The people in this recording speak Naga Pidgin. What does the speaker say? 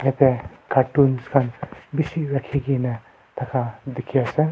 yate cartons khan bishi rakhikene thaka dikhi ase.